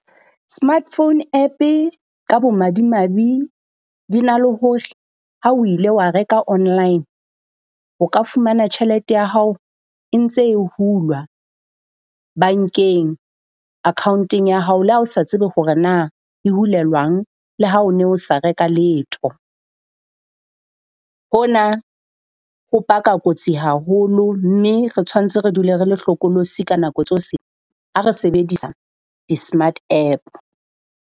Smart phone App-e ka bo madimabe di na le ho ha o ile wa reka online, o ka fumana tjhelete ya hao e ntse hulwa bankeng account-eng ya hao le ha o sa tsebe hore na di hulelwang le ha o no sa reka letho. Hona ho paka kotsi haholo mme re tshwantse re dule re le hlokolosi ka nako tsose ha re sebedisa di-smart App.